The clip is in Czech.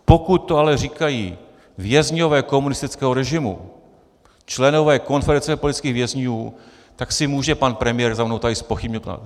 Pokud to ale říkají vězňové komunistického režimu, členové Konfederace politických vězňů, tak si může pan premiér za mnou tady zpochybnit.